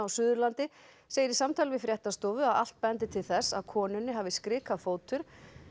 Suðurlandi segir í samtali við fréttastofu að allt bendi til þess að konunni hafi skrikað fótur